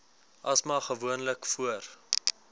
asma gewoonlik voor